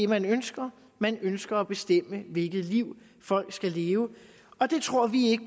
man ønsker man ønsker at bestemme hvilket liv folk skal leve og det tror vi